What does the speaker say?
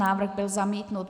Návrh byl zamítnut.